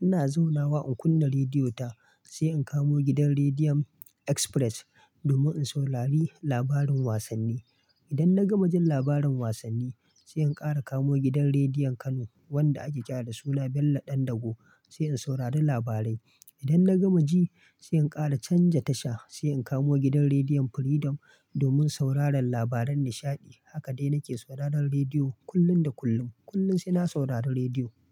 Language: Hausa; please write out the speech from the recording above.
Ina zaunawa in kunna rediyo ta, sai in kamo gidan Rediyan Express domin in saurari labarin wasanni. Idan na gama jin labarin wasanni, sai in ƙara kamo gidan Rediyan Kano wanda ake ƙira da suna Bello Ɗandago, sai in saurari labarai. Idan na gama ji, sai in ƙara canja tasha, sai in kamo gidan Rediyan Freedom domin sauraron labaran nishaɗi. Haka dai nake sauraron rediyo kullum da kullum. Kullum sai na saurare rediyo.